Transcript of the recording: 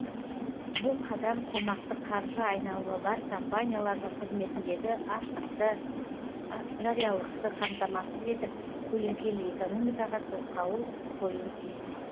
бұл қадам қомақты қаржы айналымы бар компаниялардың қызметіндегі ашықтықты жариялықты қамтамасыз етіп көлеңкелі экономикаға тосқауыл қоюы тиіс